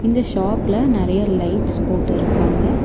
இந்த ஷாப்ல நறைய லைட்ஸ் போட்டிருக்காங்க.